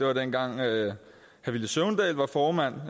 var dengang villy søvndal var formand